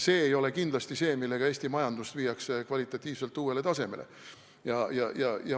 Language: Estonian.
See ei ole kindlasti see, millega Eesti majanduse saaks kvalitatiivselt uuele tasemele viia.